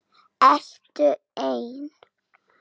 Ertu ein?